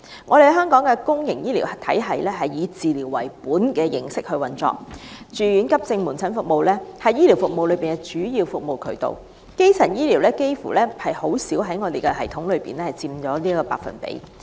我們的公營醫療體系是以治療為本的形式運作，住院、急症及門診服務是醫療服務的主要組成部分，基層醫療在系統中僅佔極低的百分比。